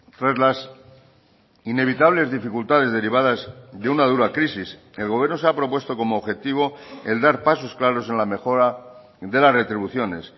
tras las inevitables dificultades derivadas de una dura crisis el gobierno se ha propuesto como objetivo el dar pasos claros en la mejora de las retribuciones